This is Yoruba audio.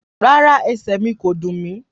Rárá, ẹsẹ̀ mí ko dùn mí.